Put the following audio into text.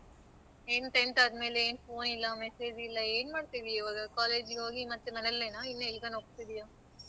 ನೀವು tenth ಆದಮೇಲೆ ಏನ್ phone ಇಲ್ಲ message ಇಲ್ಲ ಏನ್ ಮಾಡ್ತಿದೀಯ ಇವಾಗ college ಗೆ ಹೋಗಿ ಮತ್ತೆ ಮನೆಲ್ಲೆನಾ ಅಥವಾ ಇನ್ನೆಲಗಾದ್ರೂ ಹೋಗತಿದಿಯ?